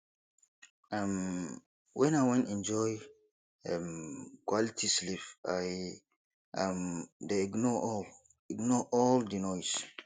um wen i wan enjoy um quality sleep i um dey ignore all ignore all di noise